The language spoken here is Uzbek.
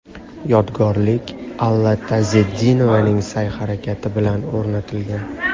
Yodgorlik Alla Tazetdinovaning sa’y-harakati bilan o‘rnatilgan.